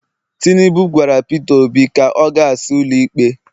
tinubu gwara Pete obi ka o gas ụlọ ikpe